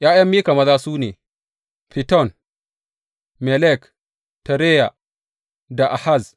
’Ya’yan Mika maza su ne, Fiton, Melek, Tereya da Ahaz.